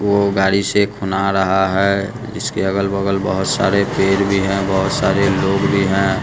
जो गाड़ी से खूना रहा है इसके अगल-बगल बहुत सारे पेर भी हैं बहुत सारे लोग भी हैं।